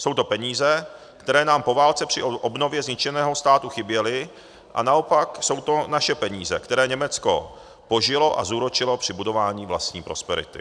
Jsou to peníze, které nám po válce při obnově zničeného státu chyběly, a naopak jsou to naše peníze, které Německo použilo a zúročilo při budování vlastní prosperity.